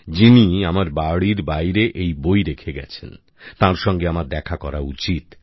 যিনি আমার বাড়ির বাইরে এই বই রেখে গেছেন তাঁর সঙ্গে আমার দেখা করা উচিত